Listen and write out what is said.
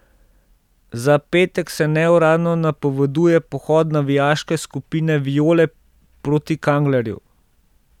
Za petek se neuradno napoveduje pohod navijaške skupine Viole proti Kanglerju.